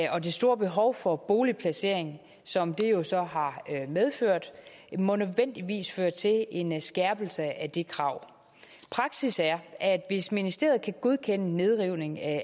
og det store behov for boligplacering som den jo så har medført må nødvendigvis føre til en skærpelse af det krav praksis er at ministeriet kan godkende nedrivning af